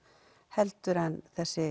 heldur en þessi